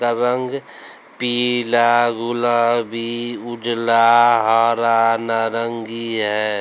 का रंग पीला गुलाबी उजाला हरा नारंगी है।